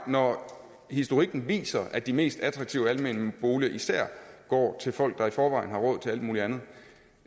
når historikken viser at de mest attraktive almene boliger især går til folk der i forvejen har råd til alt muligt andet